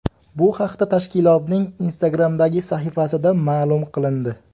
Bu haqda tashkilotning Instagram’dagi sahifasida ma’lum qilindi.